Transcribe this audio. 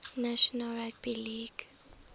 national rugby league